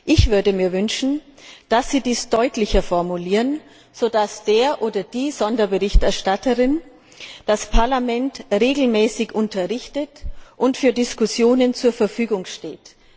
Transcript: Ich würde mir wünschen, dass Sie dies deutlicher formulieren, sodass der Sonderberichterstatter oder die Sonderberichterstatterin das Parlament regelmäßig unterrichtet und für Diskussionen zur Verfügung steht.